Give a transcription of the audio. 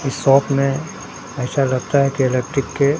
इस शॉप में ऐसा लगता है कि इलेक्ट्रिक के--